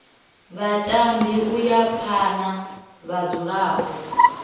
vhatambi u ya phana vhadzulapo